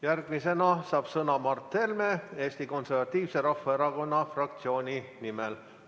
Järgmisena saab sõna Mart Helme Eesti Konservatiivse Rahvaerakonna fraktsiooni nimel.